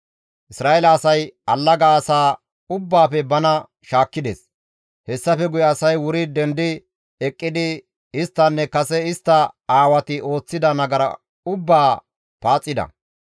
Isra7eele asay allaga asaa ubbaafe bana shaakkides; hessafe guye asay wuri dendi eqqidi isttinne kase istta aawati ooththida nagara ubbaa paaxida.